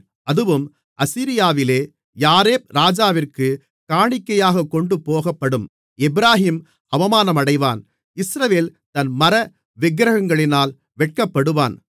அதுவும் அசீரியாவிலே யாரேப் ராஜாவிற்குக் காணிக்கையாகக் கொண்டுபோகப்படும் எப்பிராயீம் அவமானமடைவான் இஸ்ரவேல் தன் மர விக்கிரங்களினால் வெட்கப்படுவான்